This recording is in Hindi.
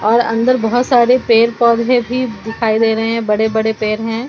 और अंदर बोहोत सारे पेड़ पौधे भी दिखाई दे रहे हे बड़े-बड़े पेर है।